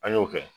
An y'o kɛ